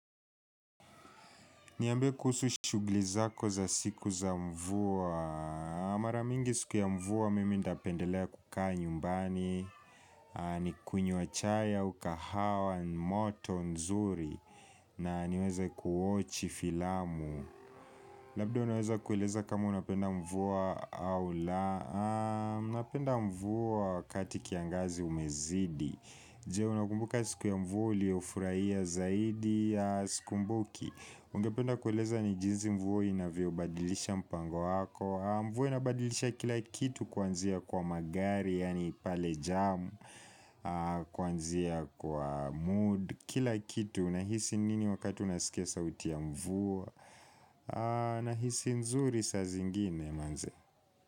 Niambie kuhusu shuguli zako za siku za mvua. Mara mingi siku ya mvua mimi napendelea kukaa nyumbani. Ni kunywa chai au kahawa moto, nzuri. Na niweza kuwochi filamu. Labda unaweza kueleza kama unapenda mvua au la. Unapenda mvua wakati kiangazi umezidi. Je, unakumbuka siku ya mvua uliofurahia zaidi sikumbuki. Ungependa kueleza ni jinsi mvua inavyobadilisha mpango wako. Mvua inabadilisha kila kitu kuanzia kwa magari yani pale jam Kuanzia kwa mood Kila kitu nahisi nini wakati unasikia sauti ya mvua Nahisi nzuri saa zingine manze.